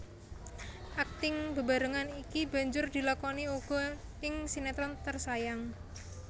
Akting bebarengan iki banjur dilakoni uga ing sinetron Tersayang